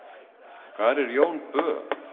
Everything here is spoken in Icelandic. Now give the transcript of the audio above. hvar er jón bö